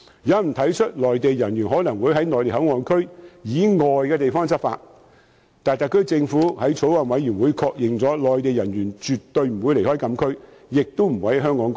有人提出內地人員可能會在內地口岸區以外的地方執法，但特區政府已向法案委員會確認，內地人員絕對不會離開禁區，亦不會在香港過夜。